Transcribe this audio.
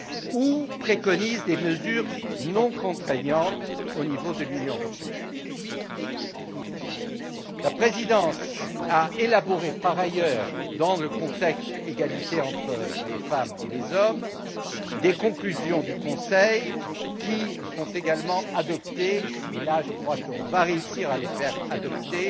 ou préconisent des mesures non contraignantes au niveau de l'Union européenne. La Présidence a élaboré, par ailleurs, dans le contexte de l'égalité entre les femmes et les hommes, des conclusions du Conseil, qui seront également adoptées sur ce point, je crois qu'on réussira à les faire adopter